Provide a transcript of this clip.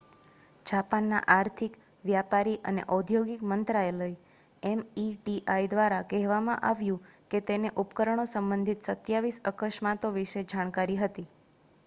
જાપાનના આર્થિક વ્યાપારી અને ઔદ્યોગિક મંત્રાલય meti દ્વારા કહેવામાં આવ્યું કે તેને ઉપકરણો સંબંધિત 27 અકસ્માતો વિશે જાણકારી હતી